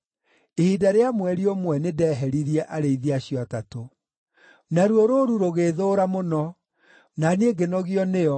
Ihinda rĩa mweri ũmwe nĩndeheririe arĩithi acio atatũ. Naruo rũũru rũgĩĩthũũra mũno, na niĩ ngĩnogio nĩo,